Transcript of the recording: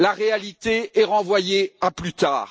La réalité est renvoyée à plus tard.